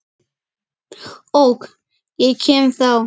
OK, ég kem þá!